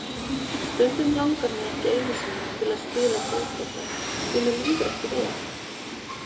Stundum langar mig ekki einu sinni til að spila fótbolta því mér líður ekki vel.